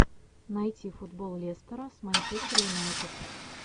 найти футбол лестера с манчестер юнайтед